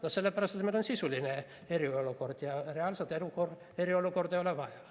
No sellepärast, et meil on sisuline eriolukord, ja reaalset eriolukorda ei ole vaja.